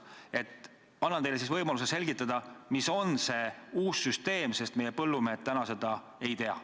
Ma annan teile võimaluse selgitada, milline see uus süsteem on, sest põllumehed seda täna ei tea.